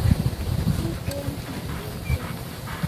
Tuten biik eng konyon